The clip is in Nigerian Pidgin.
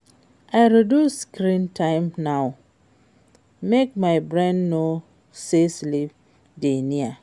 I reduce screen time now, make my brain know say sleep dey near.